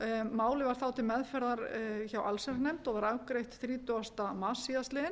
málið var þá til meðferðar hjá allsherjarnefnd og var afgreitt þrítugasta mars síðastliðinn